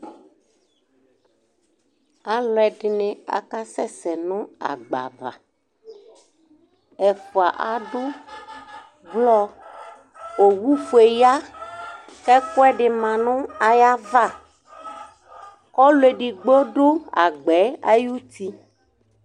Alʋ ɛdini akasɛsɛ nʋ agba ava, ɛfʋa adʋ blɔ owʋfue ya kʋ ɛkʋɛdi manʋ ayʋ ava Kʋ ɔlʋ edigbo dʋ agbɛ ayʋ uti